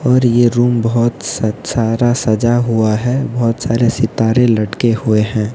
और ये रूम बहुत स सारा सजा हुआ है बहुत सारे सितारे लटके हुए हैं।